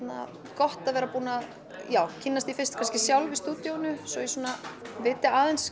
gott að vera búin að kynnast því kannski sjálf í stúdíóinu svo ég viti aðeins